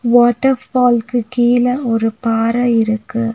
Water ஃபால்ஸ்க்கு கீழ ஒரு பாற இருக்கு.